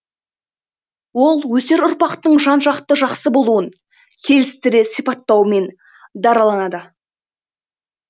ол өсер ұрпақтың жан жақты жақсы болуын келістіре сипаттауымен дараланады